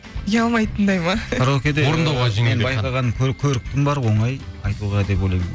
ұялмайтындай ма менің байқағаным көріктім бар оңай айтуға деп ойлаймын